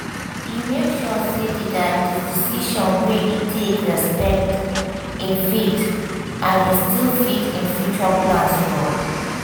e make sure say di decision wey e take respect im faith and still fit im future plans well.